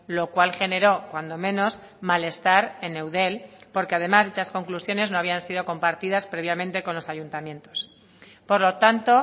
lo cual generó cuando menos malestar en eudel porque además dichas conclusiones no habían sido compartidas previamente con los ayuntamientos por lo tanto